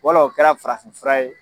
Wɔlɔ o kɛra farahin fura ye .